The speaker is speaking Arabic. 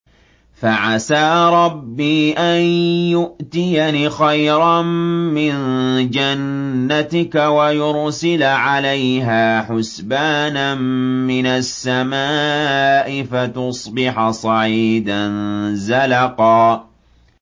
فَعَسَىٰ رَبِّي أَن يُؤْتِيَنِ خَيْرًا مِّن جَنَّتِكَ وَيُرْسِلَ عَلَيْهَا حُسْبَانًا مِّنَ السَّمَاءِ فَتُصْبِحَ صَعِيدًا زَلَقًا